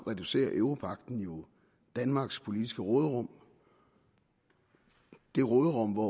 reducerer europagten jo danmarks politiske råderum det råderum hvori